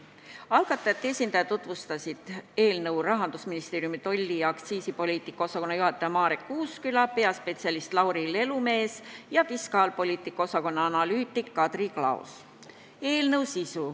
Algatajate esindajatena tutvustasid eelnõu Rahandusministeeriumi tolli- ja aktsiisipoliitika osakonna juhataja Marek Uusküla, peaspetsialist Lauri Lelumees ja fiskaalpoliitika osakonna analüütik Kadri Klaos.